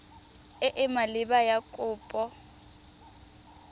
e e maleba ya kopo